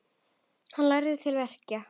Hann lærði til verka.